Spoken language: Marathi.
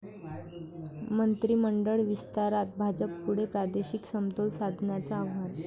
मंत्रिमंडळ विस्तारात भाजपपुढे प्रादेशिक समतोल साधण्याचं आव्हान